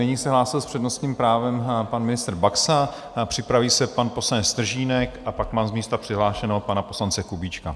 Nyní se hlásil s přednostním právem pan ministr Baxa, připraví se pan poslanec Stržínek a pak mám z místa přihlášeného pana ministra Kubíčka.